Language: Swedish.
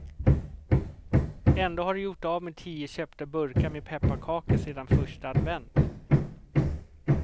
Ändå har de gjort av med tio köpta burkar med pepparkakor sedan första advent.